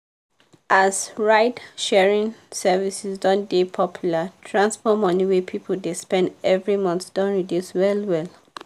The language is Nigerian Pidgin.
as ride-sharing services don dey popular transport money wey people dey spend every month don reduce well well.